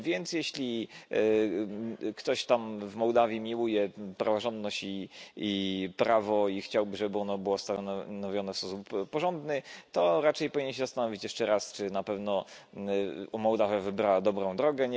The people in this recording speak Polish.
Jeśli ktoś tam w Mołdawii miłuje praworządność i prawo i chciałby, żeby ono było stanowione w sposób porządny, to raczej powinien się zastanowić jeszcze raz, czy na pewno Mołdawia wybrała dobrą drogę.